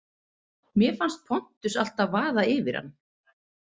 Mér fannst Pontus alltaf vaða yfir hann.